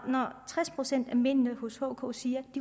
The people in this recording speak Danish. tres procent af mændene i hk siger at